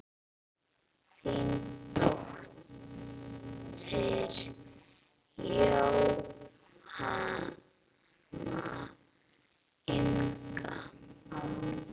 Þín dóttir Jóhanna Inga.